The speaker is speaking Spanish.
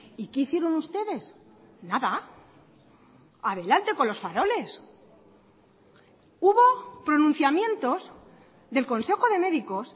y qué hicieron ustedes nada adelante con los faroles hubo pronunciamientos del consejo de médicos